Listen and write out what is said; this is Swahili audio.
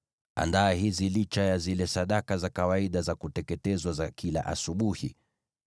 Andaa hizi licha ya zile sadaka za kawaida za kuteketezwa za kila asubuhi.